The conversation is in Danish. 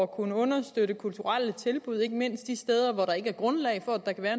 at kunne understøtte kulturelle tilbud ikke mindst de steder hvor der ikke er grundlag for at der kan være